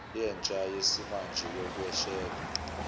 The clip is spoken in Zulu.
yentsha yesimanje yokweshela